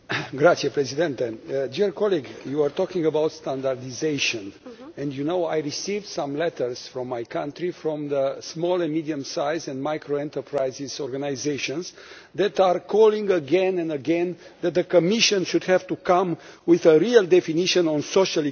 Dear colleague, you are talking about standardisation, and you know, I received some letters from my country, from the small and medium sized and micro enterprises organisations, that are calling again and again that the Commission should have to come with a real definition on social economy enterprises.